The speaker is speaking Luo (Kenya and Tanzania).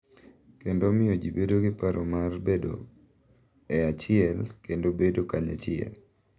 Kendo omiyo ji bedo gi paro mar bedo e achiel kendo bedo kanyachiel.